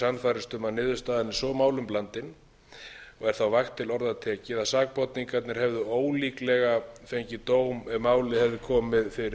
sannfærast um að niðurstaðan er svo málum blandin og er þá vægt til orða tekið að sakborningarnir hefðu ólíklega fengið dóm ef málið hefði komið fyrir